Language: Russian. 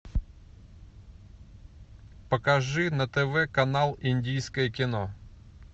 покажи на тв канал индийское кино